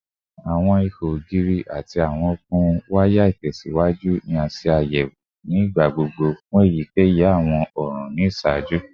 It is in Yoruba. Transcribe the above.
Awọn iho ogiri ati awọn okun waya itẹsiwaju ni a ṣe ayẹwo ni igbagbogbo fun eyikeyi awọn ọran ni iṣaaju